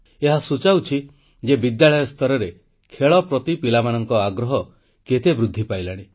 ଏହା ସୂଚାଉଛି ଯେ ବିଦ୍ୟାଳୟ ସ୍ତରରେ ଖେଳ ପ୍ରତି ପିଲାମାନଙ୍କ ଆଗ୍ରହ କେତେ ବୃଦ୍ଧି ପାଇଲାଣି